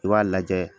I b'a lajɛ